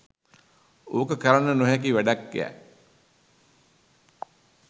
ඕක කරන්න නොහැකි වැඩක්යැ.